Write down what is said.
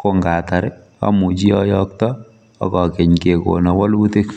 kongatar amuchi ayokto akakeny kekono walutik.